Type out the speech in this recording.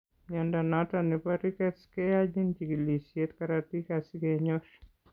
Mnyondo noton nebo Rickets keyachin chikilisiet karatik asige nyor